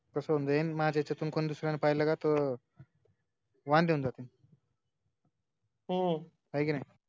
कसं होऊन जाईन माझ्या हेज्यातुन कोण दुसऱ्यानं पाहिलं का तो, वांदे होऊन जातील हाई कि नाय